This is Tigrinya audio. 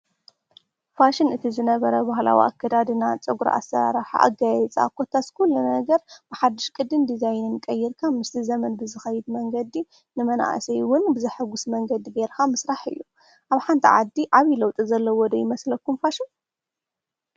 ፍሺን ማለት ብሓዱሽ ቅዲ ናብ ዕዳጋ ዝቀርብ ማለት እንትኸውን ኣከዳድና፣ ኣሰራርሓ ፀጉሪ ዘካትት እዩ።